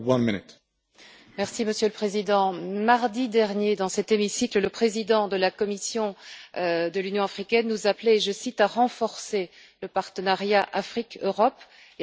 Monsieur le Président, mardi dernier, dans cet hémicycle, le président de la Commission de l'Union africaine nous appelait à renforcer le partenariat Afrique Europe et à construire des ponts.